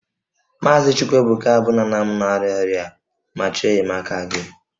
Maazị Chukwuebuka bụ nna nna m na-arịa ọrịa ma chọọ enyemaka gị